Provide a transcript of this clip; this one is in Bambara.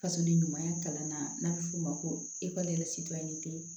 Fasoden ɲumanya kalanna n'a bɛ f'o ma ko